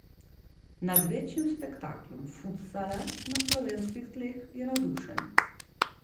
Nad največjim spektaklom futsala na slovenskih tleh je navdušen.